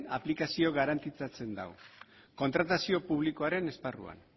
aplikazio garantizatzen du kontratazio publikoaren esparruan